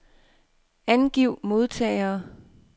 Angiv modtagere.